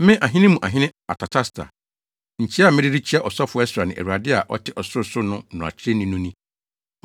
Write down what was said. Me ahene mu hene Artasasta, nkyia a mede rekyia ɔsɔfo Ɛsra ne Awurade a ɔte ɔsorosoro no mmarakyerɛni no ni: